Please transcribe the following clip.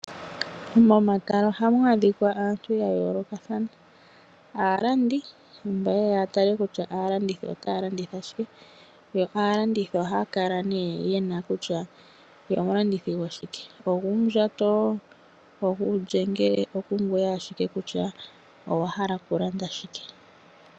Momatala oha mu adhika aantu ya yoolokathana. Oha mu kala aalandi mboka ha yeya ya tale kutya aalandithi otaa landitha shike. Aalandithi ohaa kala nee ye na kutya otaa landitha shike, ngaashi uundjato, uulyenge nosho tuu. Omuntu oho hogolola owala shi wa hala okulanda.